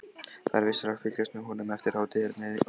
Það er vissara að fylgjast með honum eftir hátternið áðan.